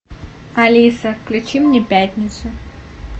алиса включи мне пятницу